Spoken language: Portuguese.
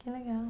Que legal.